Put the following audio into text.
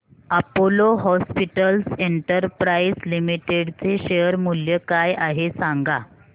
Apollo Hospitals Enterprise Limited चे share मूल्य काय आहे सांगा